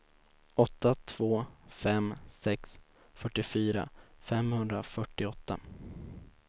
åtta två fem sex fyrtiofyra femhundrafyrtioåtta